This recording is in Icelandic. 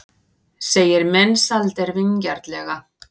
segir Mensalder vingjarnlega.